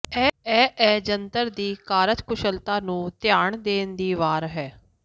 ਇਹ ਇਹ ਜੰਤਰ ਦੀ ਕਾਰਜਕੁਸ਼ਲਤਾ ਨੂੰ ਧਿਆਨ ਦੇਣ ਦੀ ਵਾਰ ਹੈ